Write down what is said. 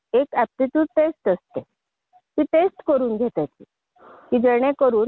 आणि व्यावसायिक असा दोघांचा संगम असणारा अभ्यासक्रम आहे.